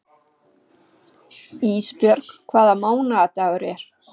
Ísbjörg, hvaða mánaðardagur er í dag?